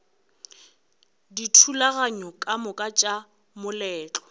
dithulaganyo ka moka tša moletlo